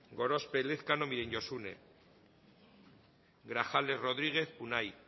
gorospe elezkano josune grajales rodríguez unai